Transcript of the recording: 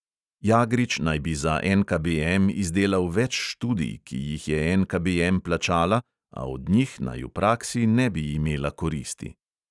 Jagrič naj bi za NKBM izdelal več študij, ki jih je NKBM plačala, a od njih naj v praksi ne bi imela koristi.